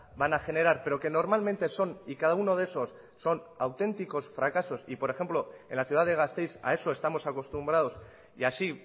van a generar pero que normalmente son y cada uno de esos son auténticos fracasos y por ejemplo en la ciudad de gasteiz a eso estamos acostumbrados y así